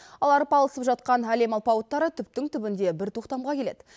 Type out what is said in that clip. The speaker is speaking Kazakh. ал арпалысып жатқан әлем алпауыттары түптің түбінде бір тоқтамға келеді